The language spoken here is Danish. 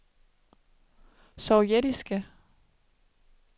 sovjetiske